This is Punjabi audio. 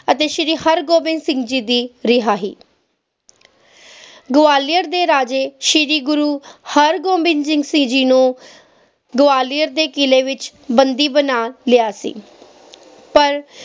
ਅਤੇ ਸ਼ੀਰੀ ਹਰ ਗੋਬਿੰਦ ਸਿੰਘ ਜੀ ਦੀ ਰਿਹਾਈ ਗਵਾਲੀਅਰ ਦੇ ਰਾਜੇ ਸ਼ੀਰੀ ਗੁਰੂ ਹਰ ਗੋਬਿੰਦ ਸਿੰਘ ਜੀ ਨੂੰ ਗਵਾਲੀਅਰ ਦੇ ਕਿਲੇ ਵਿਚ ਬਣਦੀ ਬਣਾ ਲਿਆ ਸੀ ਪਰ